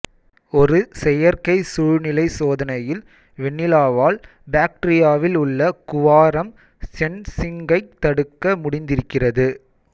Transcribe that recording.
ஒரு செயற்கை சூழ்நிலை சோதனையில் வெனிலாவால் பாக்டீரியாவில் உள்ள குவாரம் சென்சிங்கைத் தடுக்க முடிந்திருக்கிறது